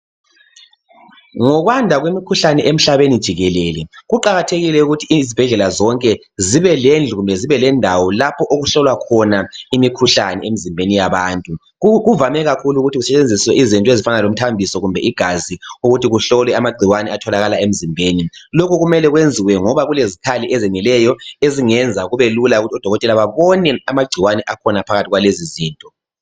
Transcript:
Ngokwanda kwemikhuhlane emhlabeni jikelele. Kuqakathekile ukuthi izibhedlela zonke zibe lendlu kumbe zibe lendawo, lapha okuhlolwa khona imikhuhlane emzimbeni yabantu. Kuvane kakhulu ukuthi kusetshenziswei zinto ezifana lomithambiso kumbe igazi. ukuthi kuhlolwe amagcikwane atholakala emzimbeni. Lokhu kumele kwenziwe ngoba kukezikhali ezeneleyo ezingenza kubelula ukuthi anadokotela abone amagcikwane aphakathi kwalezizinto.